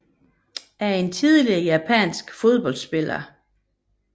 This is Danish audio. Shuko Kondo er en tidligere japansk fodboldspiller